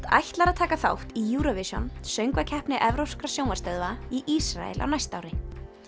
ætlar að taka þátt í Eurovision Söngvakeppni evrópskra sjónvarpsstöðva í Ísrael á næsta ári